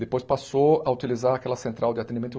Depois passou a utilizar aquela central de atendimento.